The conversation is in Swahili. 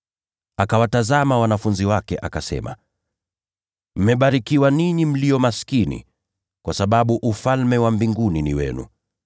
Akawatazama wanafunzi wake, akasema: “Mmebarikiwa ninyi mlio maskini, kwa sababu Ufalme wa Mungu ni wenu.